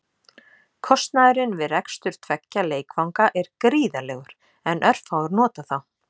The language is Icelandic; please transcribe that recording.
Kostnaðurinn við rekstur tveggja leikvanga er gríðarlegur en örfáir nota þá.